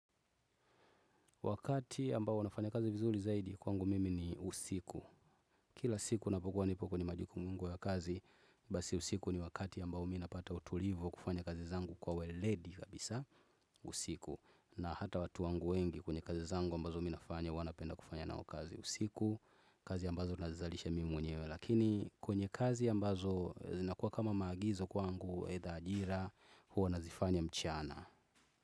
Wakati ambao huwa nafanya kazi vizuri zaidi kwangu mimi ni usiku. Kila siku ninapokuwa nipo kwenye majukumu yangu ya kazi basi usiku ni wakati ambao mi napata utulivo wa kufanya kazi zangu kwa weledi kabisa usiku. Na hata watu wangu wengi kwenye kazi zangu ambazo mi nafanya huwa napenda kufanya nao kazi usiku. Kazi ambazo nazizalisha mimi mwenyewe lakini kwenye kazi ambazo zinakuwa kama maagizo kwangu aitha ajira, huwa nazifanya mchana.